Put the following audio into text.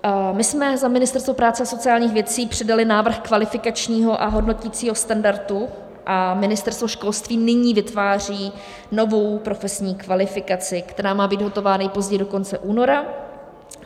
My jsme za Ministerstvo práce a sociálních věcí předali návrh kvalifikačního a hodnoticího standardu a Ministerstvo školství nyní vytváří novou profesní kvalifikaci, která má být hotova nejpozději do konce února.